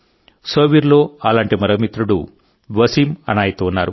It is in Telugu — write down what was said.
సోపోర్ లో అలాంటి మరో మిత్రుడు వసీం అనాయత్ ఉన్నారు